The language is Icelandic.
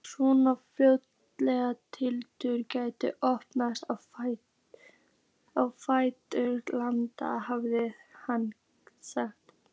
Svona hrófatildur gæti opnast á ferðalagi, hafði hann sagt.